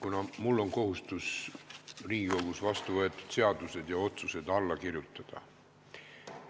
Kuna mul on kohustus Riigikogus vastu võetud seadused ja otsused alla kirjutada,